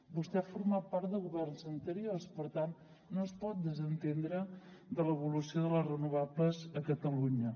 vostè ha format part de governs anteriors per tant no es pot desentendre de l’evolució de les renovables a catalunya